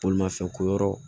Bolimafɛn ko yɔrɔ